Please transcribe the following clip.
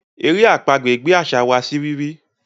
èrè àpagbè gbé àṣà wá sí rírí.